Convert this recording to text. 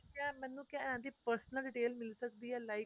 ਕਿਆ ਮੈਂਨੂੰ ਕਿਆ ਇਹਦੀ personal detail ਮਿਲ ਸਕਦੀ ਏ like